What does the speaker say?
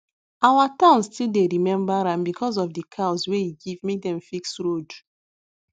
our town still dey remember am because of the cows wey e give make dem fix road